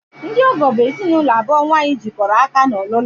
Ndị ọgọ bụ ezinụlọ abụọ nnwa ha jikọrọ aka n'ọlụlụ